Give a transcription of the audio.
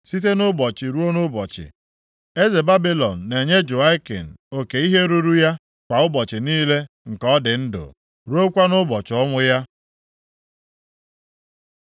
Site nʼụbọchị ruo nʼụbọchị, eze Babilọn na-enye Jehoiakin oke ihe ruru ya kwa ụbọchị niile nke ọ dị ndụ, ruokwa nʼụbọchị ọnwụ ya.